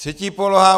Třetí poloha.